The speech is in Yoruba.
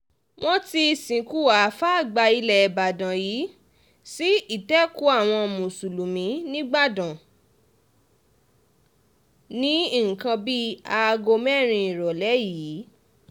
wọ́n ti sìnkú àáfàá àgbà ilẹ̀ ìbàdàn yìí sí ìtẹ́kùú àwọn mùsùlùmí nígbàdàn ní nǹkan bíi aago mẹ́rin ìrọ̀lẹ́ yìí